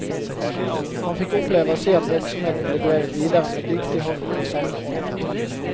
Han fikk oppleve å se at virksomheten ble drevet videre med dyktig hånd og i samme ånd.